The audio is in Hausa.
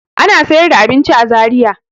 Ana sayar da abinci a Zariya.